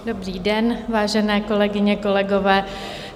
Dobrý den, vážené kolegyně, kolegové.